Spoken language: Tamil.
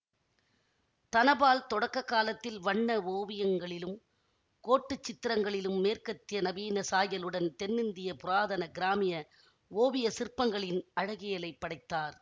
தனபால் தொடக்க காலத்தில் வண்ண ஓவியங்களிலும் கோட்டுச் சித்திரங்களிலும் மேற்கத்திய நவீன சாயலுடன் தென்னிந்திய புராதன கிராமிய ஓவிய சிற்பங்களின் அழகியலைப் படைத்தார்